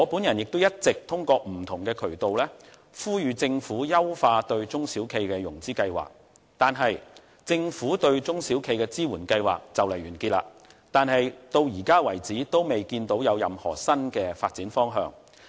我也一直透過不同的渠道，呼籲政府優化對中小企的融資計劃，而政府對中小企的支援計劃快將完結，然而，至目前為止，也未見有任何新的發展方向。